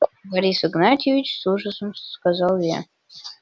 борис игнатьевич с ужасом сказал я